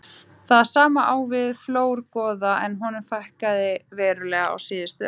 Það sama á við um flórgoða en honum fækkaði verulega á síðustu öld.